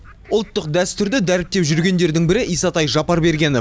ұлттық дәстүрді дәріптеп жүргендердің бірі исатай жапарбергенов